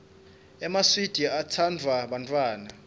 emaswidi atsanduwa bantfwana